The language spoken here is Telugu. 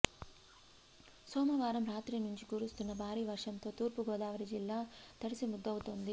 సోమవారం రాత్రి నుంచి కురుస్తున్న భారీ వర్షంతో తూర్పు గోదావరి జిల్లా తడిసిముద్దవుతోంది